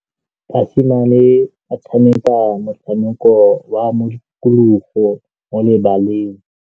Basimane ba tshameka motshameko wa modikologô mo lebaleng.